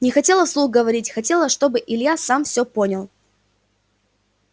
не хотела вслух говорить хотела чтобы илья сам все понял